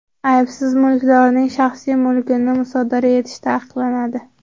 Aybsiz mulkdorning shaxsiy mulkini musodara etish taqiqlanadi.